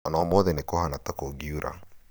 ona ũmũthĩ nĩ kũhana ta kũngiura